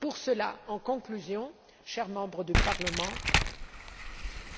Pour cela, en conclusion, chers membres,